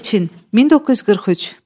Elçin, 1943.